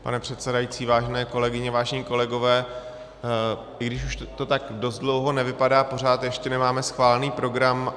Pane předsedající, vážené kolegyně, vážení kolegové, i když už to tak dost dlouho nevypadá, pořád ještě nemáme schválený program.